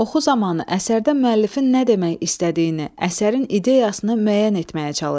Oxu zamanı əsərdə müəllifin nə demək istədiyini, əsərin ideyasını müəyyən etməyə çalış.